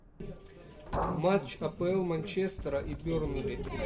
матч апл манчестера и бернли